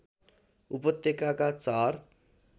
उपत्यकाका चार